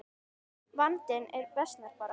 Vandinn versnar bara.